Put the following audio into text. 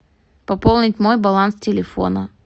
пополнить мой баланс телефона